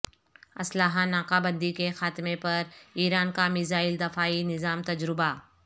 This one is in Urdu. اسلحہ ناکہ بندی کے خاتمے پر ایران کا میزائل دفاعی نظام تجربہ